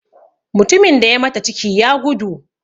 Mutumin da ya mata ciki, ya gudu.